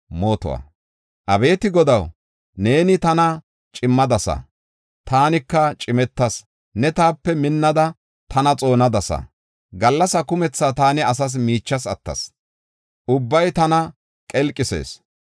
Abeeti Godaw, neeni tana cimmadasa; taanika cimetas. Neeni taape minnada, tana xoonadasa. Gallasa kumetha taani asa miichas attas; ubbay tana qelqisis.